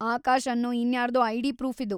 ಆಕಾಶ್‌ ಅನ್ನೋ ಇನ್ಯಾರ್ದೋ ID proof ಇದು.